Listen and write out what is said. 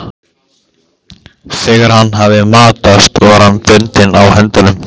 Þegar hann hafði matast var hann bundinn á höndunum.